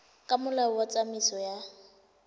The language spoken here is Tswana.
ka molao wa tsamaiso ya